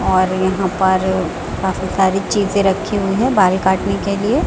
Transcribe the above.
और यहां पर काफी सारी चीजे रखी हुई है बाल काटने के लिए--